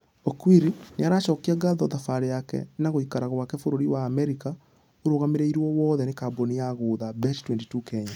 Okwiri nĩaracokia ngatho thabarĩ yake na gũikara gwake bũrũri wa america ũrũgamĩrĩirwo wothe nĩ kambũni ya guotha bet22 kenya.